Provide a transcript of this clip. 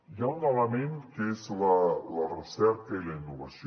hi ha un element que és la recerca i la innovació